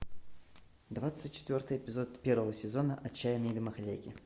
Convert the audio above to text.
двадцать четвертый эпизод первого сезона отчаянные домохозяйки